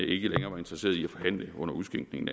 ikke længere var interesseret i at forhandle under udskænkning